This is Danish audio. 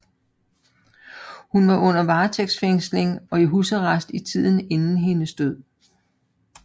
Hun var under varetægtsfængsling og i husarrest i tiden inden hendes død